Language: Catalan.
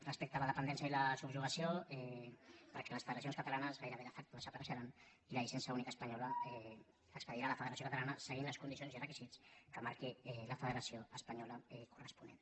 respecte a la dependència i la subjugació perquè les federacions catalanes gairebé de factoi la llicència única espanyola l’expedirà la federació català seguint les condicions i requisits que marqui la federació espanyola corresponent